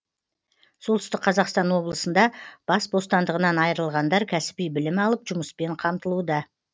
солтүстік қазақстан облысында бас бостандығынан айырылғандар кәсіби білім алып жұмыспен қамтылуда